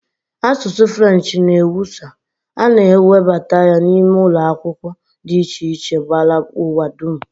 Asụsụ French n'ewusa, a na e webata ya n'ime ụlọ akwụkwọ dị iche iche gbara ụwa dum